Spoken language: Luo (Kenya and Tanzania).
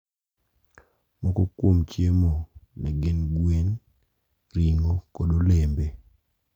Moko kuom chiemo ne gin gwen, ring`o kod olembe.